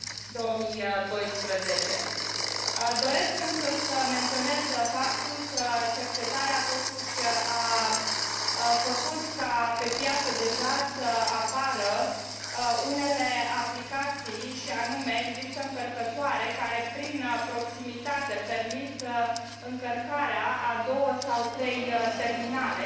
2012. Doresc însă să menționez faptul că cercetarea totuși a făcut ca pe piață deja să apară unele aplicații și anume, există încărcătoare care prin proximitate permit încărcarea a două sau trei terminale.